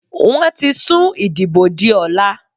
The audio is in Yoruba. Wọ́n ti sùn ìdìbò di ọ̀la.